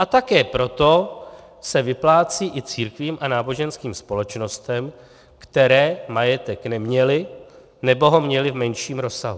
A také proto se vyplácí i církvím a náboženským společnostem, které majetek neměly, nebo ho měly v menším rozsahu.